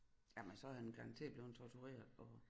Jamen så er han garanteret blevet tortureret og